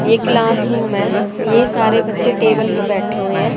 ये class room है ये सारे बच्चे टेबल पे बैठे हुए है।